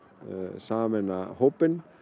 sameinar hópinn